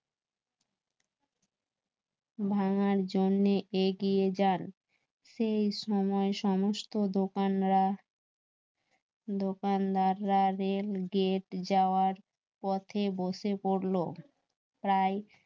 প্রায় ভাঙার জন্যে এগিয়ে যান সেই সময় সমস্ত দোকানরা দোকানদাররা রেল গেট যাওয়ার পথে বসে পরল